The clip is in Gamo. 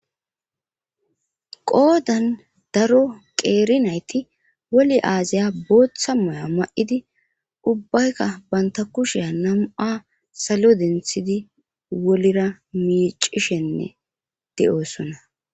Qoodan daro qeeri nayti woli aazaya booththa moya ma7idi ubbaykka banta kushea namu7a salo denthidi wolira miicishenne de7oosona